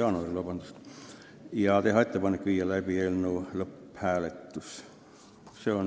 jaanuariks ja teha ettepanek viia läbi eelnõu lõpphääletus.